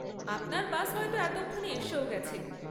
আপনার বাস হয়তো এতক্ষণে এসেও গেছে।